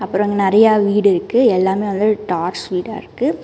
அப்றொம் அங்கெ நெறைய வீடு இருக்கு எல்லாமே வந்து டாஸ் வீடா இருக்கு.